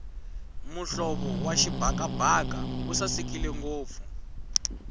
muhlovo wa xibakabaka wu sasekile ngopfu